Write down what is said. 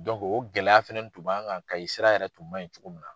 o gɛlɛya fɛnɛni tun b'an kan Kayi sira yɛrɛ tun man ɲi cogo min na.